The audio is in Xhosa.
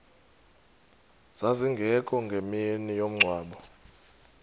zazingekho ngemini yomngcwabo